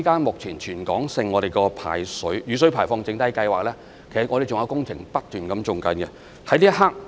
目前在全港的雨水排放整體計劃下，還有工程不斷在進行中。